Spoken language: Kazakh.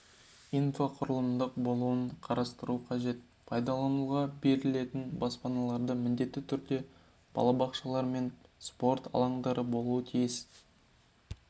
инфрақұрылымның болуын қарастыру қажет пайдалануға берілетін баспаналарда міндетті түрде балабақшалар мен спорт алаңдары болуы тиіс